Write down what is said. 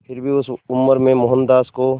फिर भी उस उम्र में मोहनदास को